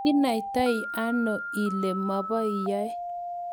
kenaitano ile mobo yoe?